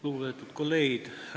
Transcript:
Lugupeetud kolleegid!